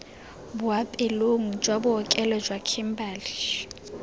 boapeelong jwa bookelo jwa kimberley